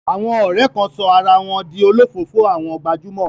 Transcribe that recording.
Àwọn ọ̀rẹ́ kan sọ ara wọn di olofoofo àwọn gbajúmọ̀.